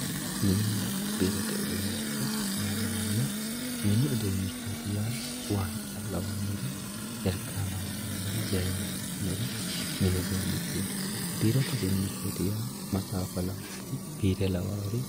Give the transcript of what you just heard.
mininna biirote uduunnicho yinanno mannu mini uduunnichooti yaa zayiinna lawannori waanca lawannori mini uduunnichooti yaate mastaaxxawa lawannori biirote uduunnichooti yaa maxaaffa lawannori piise lawayoori